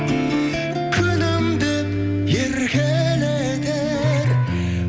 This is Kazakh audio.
күнім деп еркелетер